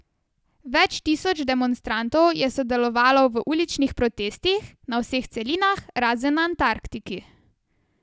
Več tisoč demonstrantov je sodelovalo v uličnih protestih na vseh celinah, razen na Antarktiki.